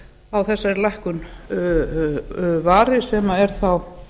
á þessari lækkun vari sem er þá